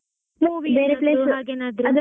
ಬೇರೆ place movie ಏನಾದ್ರೂ?